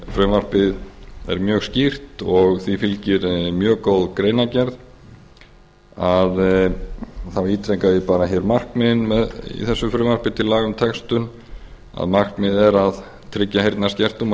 frumvarpið er mjög skýrt og því fylgir mjög góð greinargerð og þá ítreka ég bara hér markmiðin í þessu frumvarpi til laga um textun að markmiðið er að tryggja heyrnarskertum og